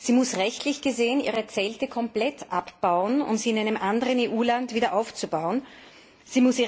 Sie muss rechtlich gesehen ihre Zelte komplett abbauen, um sie in einem anderen EU Land wieder aufbauen zu können.